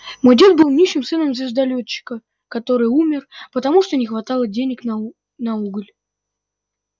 мой дед был нищим сыном звездолётчика который умер потому что не хватило денег на у на уголь